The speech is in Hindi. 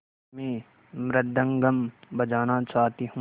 मैं मृदंगम बजाना चाहती हूँ